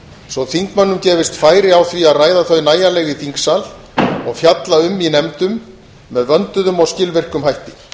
svo að þingmönnum gefist færi á því að ræða þau nægjanlega í þingsal og fjalla um í nefndum með vönduðum og skilvirkum hætti